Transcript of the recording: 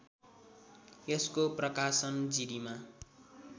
यसको प्रकाशन जिरीमा